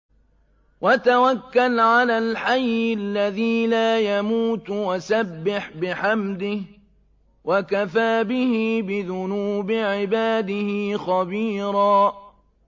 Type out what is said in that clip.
وَتَوَكَّلْ عَلَى الْحَيِّ الَّذِي لَا يَمُوتُ وَسَبِّحْ بِحَمْدِهِ ۚ وَكَفَىٰ بِهِ بِذُنُوبِ عِبَادِهِ خَبِيرًا